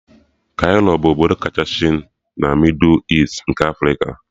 Kairo bụ obodo kachasị na mịdụ Easti nke Afrika